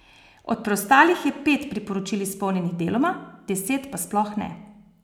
Od preostalih je pet priporočil izpolnjenih deloma, deset pa sploh ne.